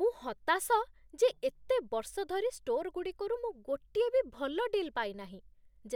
ମୁଁ ହତାଶ ଯେ ଏତେ ବର୍ଷ ଧରି ଷ୍ଟୋରଗୁଡ଼ିକରୁ ମୁଁ ଗୋଟିଏ ବି ଭଲ ଡିଲ୍ ପାଇନାହିଁ,